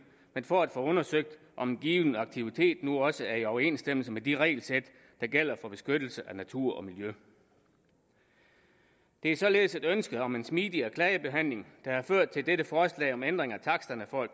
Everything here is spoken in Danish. men for at få undersøgt om en given aktivitet nu også er i overensstemmelse med de regelsæt der gælder for beskyttelse af natur og miljø det er således et ønske om en smidigere klagebehandling der har ført til dette forslag om en ændring af taksterne for at